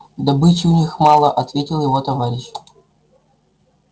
добычи у них мало ответил его товарищ